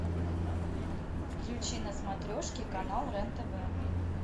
включи на смотрешке канал рен тв